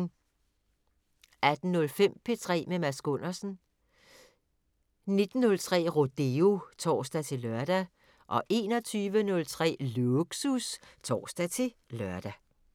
18:05: P3 med Mads Gundersen 19:03: Rodeo (tor-lør) 21:03: Lågsus (tor-lør)